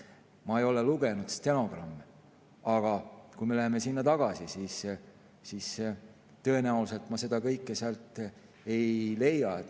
Ma ei ole lugenud stenogramme, aga kui me läheme sinna tagasi, siis tõenäoliselt ma seda kõike sealt ei leia.